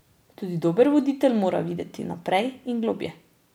Tudi dober voditelj mora videti naprej in globlje.